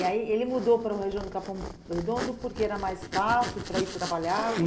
E aí ele mudou para a região do Capão Redondo porque era mais fácil para ir trabalhar?